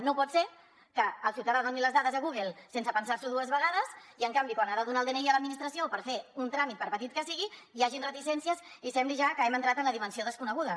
no pot ser que el ciutadà doni les dades a google sense pensar s’ho dues vegades i en canvi quan ha de donar el dni a l’administració per fer un tràmit per petit que sigui hi hagi reticències i sembli ja que hem entrat en la dimensió desconeguda